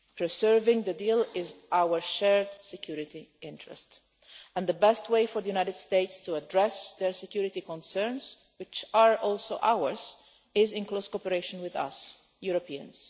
Preserving the deal is our shared security interest, and the best way for the United States to address their security concerns which are also ours is in close cooperation with we Europeans.